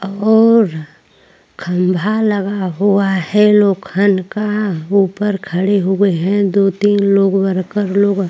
और खंबा लगा हुआ है लोखंड का उपर खड़े हो हुए है दो तीन लोग वर्कर लोग --